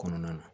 Kɔnɔna na